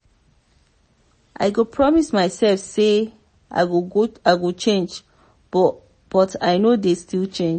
i go promise mysef sey i go change but i no dey still change.